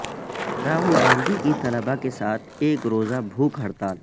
راہول گاندھی کی طلبہ کے ساتھ ایک روزہ بھوک ہڑتال